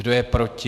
Kdo je proti?